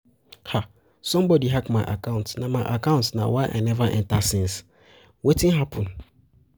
Somebody hack my account na my account na why I never enter since, wetin happen?